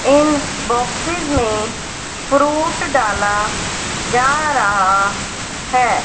इन boxes में fruit डाला जा रहा है।